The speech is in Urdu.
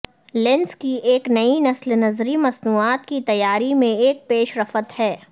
لینس کی ایک نئی نسل نظری مصنوعات کی تیاری میں ایک پیش رفت ہے